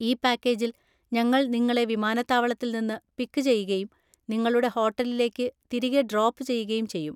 ഈ പാക്കേജിൽ, ഞങ്ങൾ നിങ്ങളെ വിമാനത്താവളത്തിൽ നിന്ന് പിക്ക് ചെയ്യുകയും നിങ്ങളുടെ ഹോട്ടലിലേക്ക് തിരികെ ഡ്രോപ്പ് ചെയ്യുകയും ചെയ്യും.